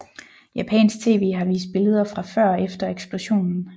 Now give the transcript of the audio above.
Japansk TV har vist billeder fra før og efter eksplosionen